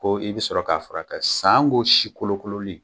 Ko i bɛ sɔrɔ k'a fura kɛ sanko si kolonnkolonen.